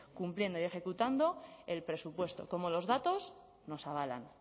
cumpliendo y ejecutando el presupuesto como los datos nos avalan